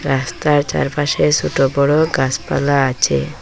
রাস্তার চারপাশে ছোট বড় গাছপালা আচে।